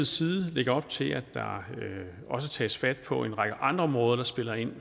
side lægge op til at der også tages fat på en række andre områder der spiller en